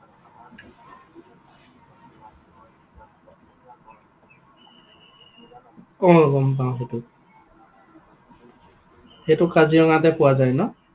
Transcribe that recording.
অ গম পাওঁ সেইটো। সেইটো কাজিৰঙাতে পোৱা যায় ন?